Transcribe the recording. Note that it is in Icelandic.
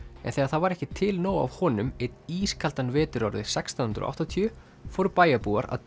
en þegar það var ekki til nóg af honum einn ískaldan vetur árið sextán hundruð og áttatíu fóru bæjarbúar að